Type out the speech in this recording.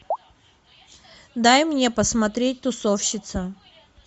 дай мне посмотреть тусовщица